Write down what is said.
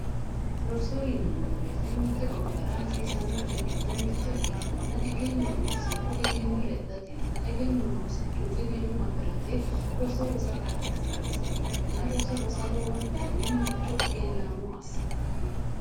Roso yinanni woyte mitte gobbara hasiissanno coy giddo mitto ikkitanna egenno noosihu egenno lexxatenna noosikkihu egenno afirate roso rosate ha'nanni base ikkanna roso rosa lowontanni mancho egennaamo assitanno.